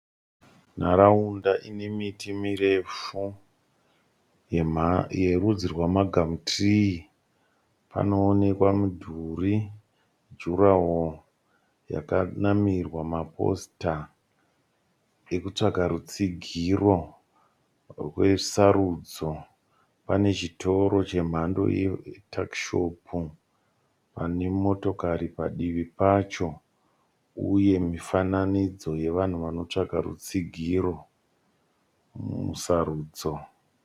Nharaunda ine miti mirefu yerudzi rwamagamutirii. Panoonekwa mudhuri juraho yakanamirwa maposita ekutsvaga rutsigiro rwesarudzo. Pane chitoro chemhando yetakishopu pane motokari padivi pacho uye mifananidzo yevanhu vanotsvaga rutsigiro musarudzo.